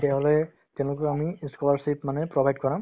তেতিয়াহ'লে তেনেকৈ আমি ই scholarship মানে provide কৰাম